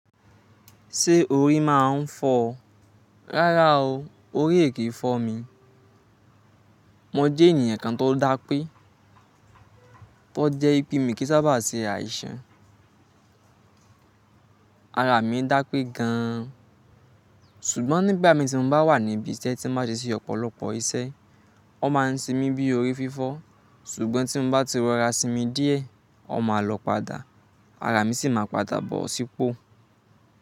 Ṣé orí máa ń fọ́ ọ? Rárá o, orí è kì í fọ́ mi. Mo je ènìyàn kan tó dá pé, tó je ipé mi kì ń sábà se àìsàn. Ara mi dápé gan an. Ṣùgbọ́n nígbà mìí, tí mo bá wà níbi isé, tí ń bá ti ṣe ọ̀pọ̀lọpọ̀ iṣẹ́, wọ́n máa ń se mi bí orí fífọ́. Ṣùgbọ́n tí m bá ti rọra sínmi díẹ̀, ọ máa lọ padà, ara mi sì máa padà bọ̀ sípò.